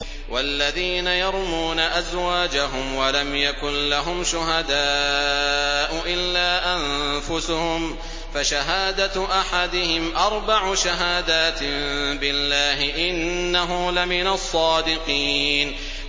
وَالَّذِينَ يَرْمُونَ أَزْوَاجَهُمْ وَلَمْ يَكُن لَّهُمْ شُهَدَاءُ إِلَّا أَنفُسُهُمْ فَشَهَادَةُ أَحَدِهِمْ أَرْبَعُ شَهَادَاتٍ بِاللَّهِ ۙ إِنَّهُ لَمِنَ الصَّادِقِينَ